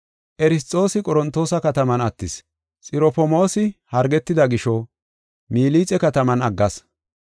Erasxoosi Qorontoosa kataman attis. Xirofmoosi hargetida gisho, Milixe kataman aggas.